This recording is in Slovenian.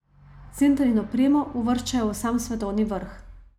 Center in opremo uvrščajo v sam svetovni vrh.